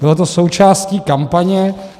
Bylo to součástí kampaně.